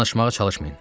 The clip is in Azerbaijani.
Danışmağa çalışmayın.